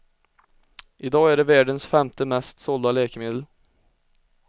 I dag är det världens femte mest sålda läkemedel.